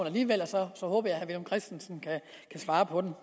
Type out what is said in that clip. alligevel og så håber jeg herre villum christensen kan svare på dem